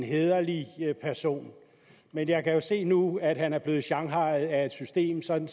hæderlig person men jeg kan jo se nu at han er blevet shanghajet af et system sådan